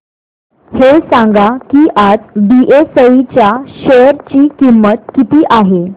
हे सांगा की आज बीएसई च्या शेअर ची किंमत किती आहे